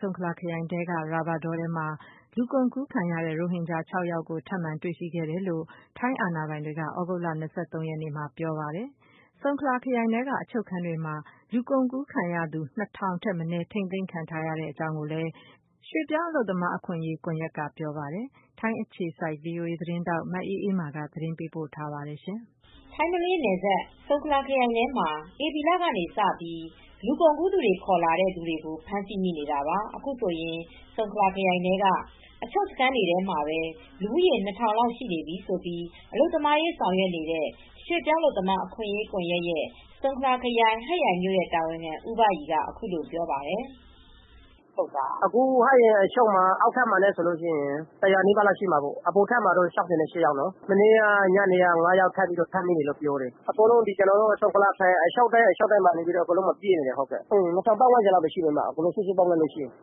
ဆုံခလာခရိုင် အတွင်းက ရာဘာတောထဲမှာ လူကုန်ကူးခံရတဲ့ ရိုဟင်ဂျာ ၉ ဦးကို ထပ်မံတွေရှိခဲ့တယ်လို့ ထိုင်း အာဏာပိုင်တွေက သြဂုတ်လ ၂၃ ရက် နေ့မှာ ပြောဆိုခဲ့ပါတယ်။ ဆုံခလာခရိုင်ထဲက အချုပ်တွေထဲမှာ လူကုန်ကူးခံရသူ ၂၀၀၀ ထက်မနည်းဟာ ထိမ်းသိမ်းခံထားရကြောင်း ရွှေ့ပြောင်းအလုပ်သမား အခွင့်အရေး ကွန်ယက်က ဆိုပါတယ်။ထိုင်း အခြေစိုက် ဗွီအိုအေသတင်းထောက် မအေးအေးမာက သတင်းပေးပို့ထားပါတယ်။ မလေးရှားနဲ့နယ်စပ် ထိုင်းနိုင်ငံဘက်ခြမ်းက ဆုံခလာခရိုင်ထဲမှာ ဧပြီလကစပြီး လူကုန်ကူး သူတွေ ခေါ်လာတဲ့ ဖမ်းဆီးနေတာဟာ အခုဆိုရင် ဆုံခလာခရိုင်ထဲမှာ အချုပ်စခန်းတွေ ထဲမှာ လူဦးရေ ၂,၀၀၀ လောက် ရှိနေပြီဖြစ်ကြောင်း အလုပ်သမားရေး ဆောင်ရွက် နေတဲ့ ရွှေ့ပြောင်းအလုပ်သမားအခွင့်အရေး ကွန်ရက်၊ ဆုံခလာခရိုင်၊ ဟတ်ရိုင်မြို့ တာဝန်ခံ ဦးဘရီက ပြောပါတယ်။ “ဟတ်ရိုင်အချုပ်ထဲမှာ အောက်ထပ်မှာ ၁၀၀ ကျော်၊ အပေါ်ထပ်မှာ ၆၈ ယောက်နဲ့ မနေ့က ၅ ယောက် ထပ်ပြီး ဖမ်းမိပါတယ်။ အခုဆိုရင် ဆုံခလာခရိုင်ထဲက အချုပ်တွေအားလုံးမှာ လူတွေ ပြည့်နေပါတယ်။ အားလုံးပေါင်းရင် လူဦးရေ ၂ ထောင်လောက် ရှိပါတယ်။”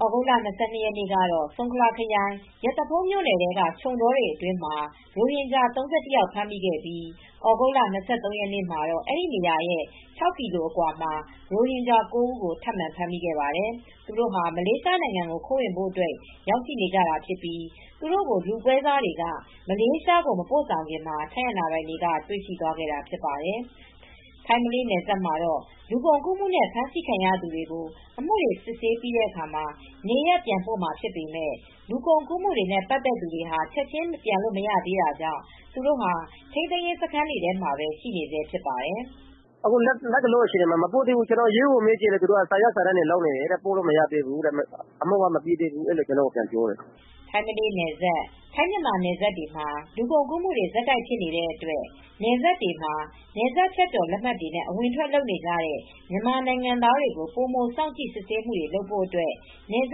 သြဂုတ်လ ၂၂ ရက်နေ့ကတော့ ဆုံခလာခရိုင် ရသဖုန်းမြို့နယ်ထဲက ခြုံတောတွေထဲမှာ ရိုဟင်ဂျာ ၃၁ ယောက် ဖမ်းမိခဲ့ပြီး သြဂုတ်လ ၂၃ ရက်နေ့မှာ အဲဒီနေရာကနေ ၆ ကီလို အကွာမှာ နောက်ထပ် ရိုဟင်ဂျာ ၉ ယောက်ကို ထပ်ပြီး တွေ့ခဲ့ပါတယ်။ သူတို့ဟာ မလေးရှား ဘက်ကို ခိုးဝင်ကြဖို့ ရောက်နေကြတာဖြစ်ပြီး လူပွဲစားတွေက မလေးရှားကို မပို့ခင် ထိုင်းအာဏာပိုင်တွေက တွေ့ပြီး ဖမ်းဆီးခဲ့တာဖြစ်ပါတယ်။ ထိုင်း-မလေးနယ်စပ်မှာ လူကုန်ကူးမှုနဲ့ ဖမ်းဆီးခံရသူတွေကို အမှုစစ်ဆေးပြီးတဲ့အခါ နေရပ်ပြန်ပို့မှာဖြစ်ပေမယ့် လူကုန်ကူးမှုနဲ့ ပတ်သက်နေသူတွေကတော့ ချက်ခြင်းပြန်လို့ မရသေးဘဲ ထိန်းသိမ်းရေးစခန်းတွေထဲမှာပဲ ခေတ္တ ထိန်းသိမ်းထားဆဲဖြစ်ပါတယ်။ “လတ်တလောအခြေအနေမှာ သူတို့ကို မပို့သေးဘူး။ ရဲကိုမေးကြည့်တော့ စာရွက် စာ တမ်းတွေ လုပ်နေရတယ်။ အမှုက မပြီးသေးဘူး။ ပို့လို့ မရသေးဘူးလို့ ရဲက ကျနော့်ကို ပြန်ပြောတယ်။” ထိုင်း-မလေးနယ်စပ် ထိုင်း မြန်မာနယ်စပ်တွေမှာ လူကုန်ကူးမှုတွေ ဆက်တိုက် ဖြစ်နေတဲ့ အတွက် နယ်စပ်တွေမှာ နယ်စပ်ဖြတ်ကျော် လက်မှတ်တွေနဲ့ အဝင်အထွက်လုပ်နေတဲ့ မြန်မာနိုင်ငံသားတွေကို ပိုမို စောင့်ကြည့် စစ်ဆေးဖို့အတွက် နယ်စ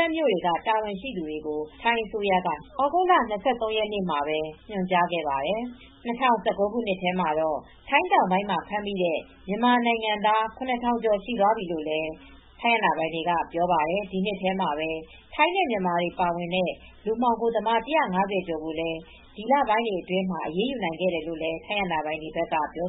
ပ်မြို့တွေက တာဝန်ရှိ သူတွေကို ထိုင်းအစိုးရက သြဂုတ်လ ၂၃ ရက်နေ့မှာပဲ ညွှန်ကြားခဲ့ပါတယ်။ ၂၀၁၉ ခုနှစ်ထဲမှာတော့ ထိုင်း တောင်ပိုင်းမှာ ဖမ်းမိတဲ့ မြန်မာနိုင်ငံသား ၇ ထောင်ကျော် သွားပြီလို့လည်း ထိုင်း အာဏာပိုင်တွေက ပြောပါတယ်။ ဒီနှစ်ထဲမှာပဲ ထိုင်းနဲ့မြန်မာတွေ ပါဝင်တဲ့ လူမှောင်ခိုသမား ၁၅၀ ကျော်ကိုလည်း ဒီလပိုင်းတွေအတွင်းမှာ အရေးယူနိုင် ခဲ့ကြောင်း ထိုင်းအာဏာပိုင်တွေက ပြော